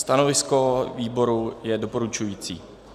Stanovisko výboru je doporučující.